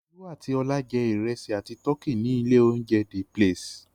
Olú àti Ọlá jẹ́ ìrẹsì àti tọkí ní ilé-oúnjẹ The Place?